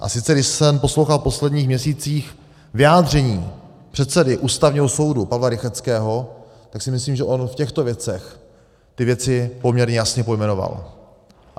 A sice když jsem poslouchal v posledních měsících vyjádření předsedy Ústavního soudu Pavla Rychetského, tak si myslím, že on v těchto věcech ty věci poměrně jasně pojmenoval.